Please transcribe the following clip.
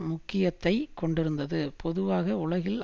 முக்கியத்தை கொண்டிருந்தது பொதுவாக உலகில்